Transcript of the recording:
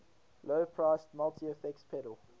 low priced multi effects pedal